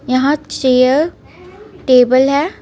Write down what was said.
यहां chair table है.